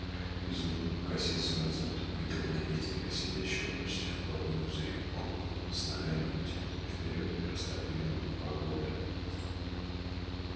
изумруд покосился назад и увидел наездника сидящего почти вплотную за его крупом с ногами вытянутыми вперёд и растопыренными по оглоблям